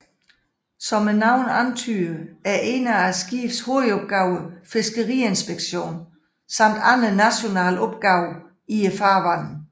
Som navnet antyder er en af skibenes hovedopgaver fiskeriinspektion samt andre nationale opgaver i farvandene